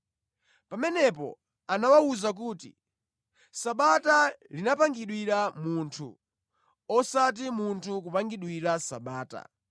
Pamenepo anawawuza kuti, “Sabata linapangidwira munthu, osati munthu kupangidwira Sabata.